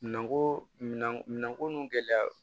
Minan ko minan minɛnko nu gɛlɛya